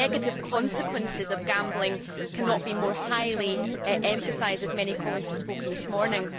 The negative consequences of gambling cannot be more highly emphasised, as many colleagues have said this morning.